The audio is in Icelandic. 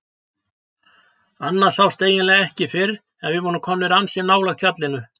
Annað sást eiginlega ekki fyrr en við vorum komin ansi nálægt fjallinu.